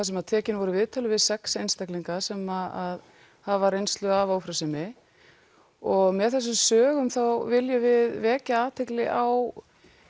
sem tekin voru viðtöl við sex einstaklinga sem hafa reynslu af ófrjósemi og með þessum sögum viljum við vekja athygli á